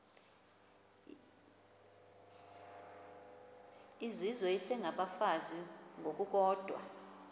izizwe isengabafazi ngokukodwa